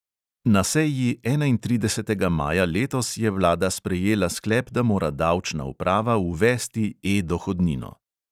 Na seji enaintridesetega maja letos je vlada sprejela sklep, da mora davčna uprava uvesti e-dohodnino.